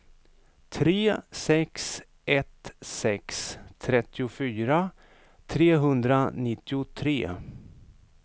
tre sex ett sex trettiofyra trehundranittiotre